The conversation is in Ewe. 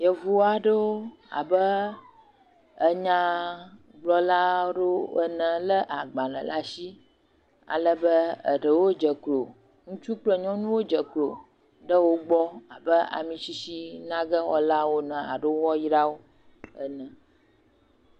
Yevu aɖewo abe enyagblɔla aɖewo le agbale ɖe asi ale be eɖewo dze klo. Ŋutsu kple nyɔnuwo dze klo ɖe wo gbɔ abe amisisi nage woala wo ene alo woayra wo ene.